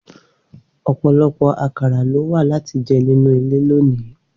Opolopo akara lo wa lati je ninu ile loni.